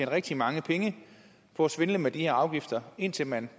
rigtig mange penge på at svindle med de her afgifter indtil man